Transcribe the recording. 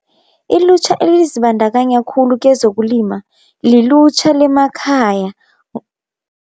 Ilutjha elizibandakanya khulu kezokulima lilutjha lemakhaya